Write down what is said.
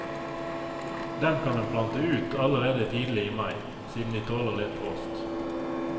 Dem kan en plante ut allerede tidlig i mai, siden de tåler litt frost.